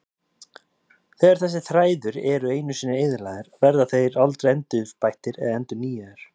Þegar þessir þræðir eru einu sinni eyðilagðir verða þeir aldrei endurbættir eða endurnýjaðir.